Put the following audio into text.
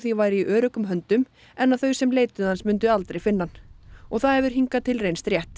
væri í öruggum höndum en að þau sem leituðu hans myndu aldrei finna hann og það hefur hingað til reynst rétt